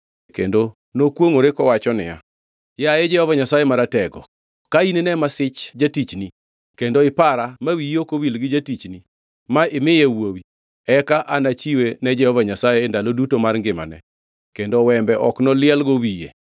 Kendo nokwongʼore kowacho niya, “Yaye Jehova Nyasaye Maratego ka inine masich jatichni kendo ipara ma wiyi ok owil gi jatichni ma imiye wuowi, eka anachiwe ne Jehova Nyasaye e ndalo duto mar ngimane, kendo wembe ok nolielgo wiye.”